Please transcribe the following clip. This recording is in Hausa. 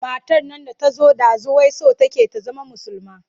Matar nan da ta zo ɗazu wai so take ta zama musulma.